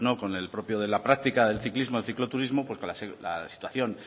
con el propio de la práctica del ciclismo del cicloturismo la situación